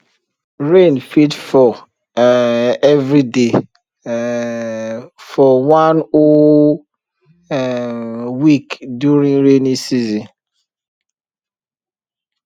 rain fit fall um every day um for one whole um week during rainy season